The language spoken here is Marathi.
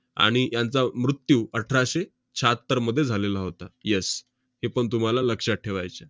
आणि यांचा मृत्यू अठराशे शहात्तरमध्ये झालेला होता. yes हेपण तुम्हाला लक्षात ठेवायचं आहे.